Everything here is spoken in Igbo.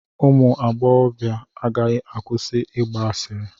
Ụmụ agbọghọ agaghị akwụsị ịgba asịrị.